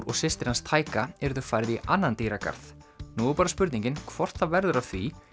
og systir hans yrðu færð í annan dýragarð nú er bara spurning hvort það verður af því